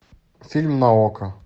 фильм на окко